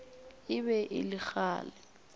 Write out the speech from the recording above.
e be e le kgale